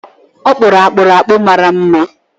Ọ kpụrụ akpụrụ akpụ mara mma.